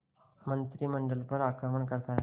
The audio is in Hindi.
मंत्रिमंडल पर आक्रमण करता है